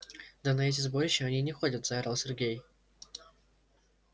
да на эти сборища они не ходят заорал сергей